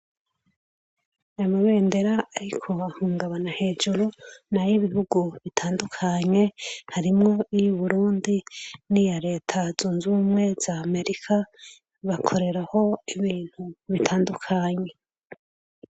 Amabendera ari kubahungabana hejuru, ni ay'ibihugu bitandukanye harimwo iy'u Burundi n'iya Leta Zunze Ubumwe za Amerika bakoreraho ibintu bitandukanye.